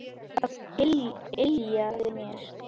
Það yljaði mér.